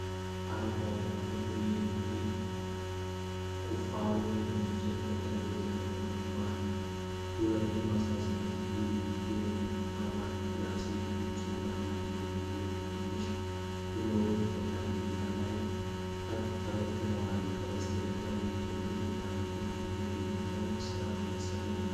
አረንጓዴ እና ጥቁር የኤሌክትሪክ ቁፋሮዎች በእንጨት ጠረጴዛ ላይ ተቀምጠዋል። ሁለቱም '18V Lithium' እና 'ONE+' የሚሉ ፅሁፎች አሏቸው። ብዙ ትናንሽ ብሎኖች በጠረጴዛው ላይ ተበትነዋል። ከበስተጀርባ የእንጨት ግድግዳ አለ። ቁፋሮዎቹ ለየትኛው ሥራ የተሠሩ ናቸው?